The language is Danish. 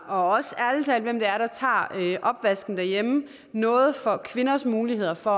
også hvem det er der tager opvasken derhjemme noget for kvinders muligheder for